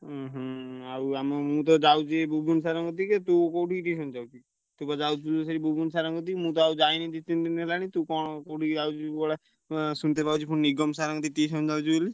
ହୁଁ ହୁଁ ଆଉ ଆମ ମୁଁ ତ ଯାଉଚି ଏଇ ବୁବୁନୁ sir ଙ୍କ କତିକି ତୁ କୋଉଠିକି tuition ଯାଉଛୁ? ତୁ ବା ଯାଉଚୁ ସେଇ ବୁବୁନୁ sir ଙ୍କ କତିକି ମୁଁ ତ ଆଉ ଯାଇନି ଦି ତିନି ଦିନି ହେଲାଣି ତୁ କଣ କୋଉଠିକି ଯାଉଚୁ କୁଆଡେ ଏଁ ଶୁଣିତେ ପାଉଛି ପୁଣି ନିଗମ sir ଙ୍କ କତିକି tuition ଯାଉଚୁ ବୋଲି?